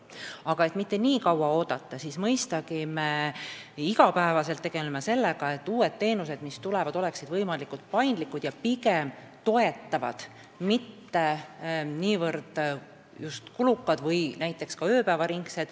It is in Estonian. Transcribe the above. Aga et mitte nii kaua lihtsalt oodata, siis me mõistagi tegeleme iga päev sellega, et uued teenused oleksid võimalikult paindlikud ja toetavad, mitte niivõrd kulukad või näiteks ööpäevaringsed.